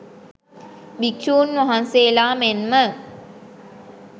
භික්‍ෂූන් වහන්සේලා මෙන්ම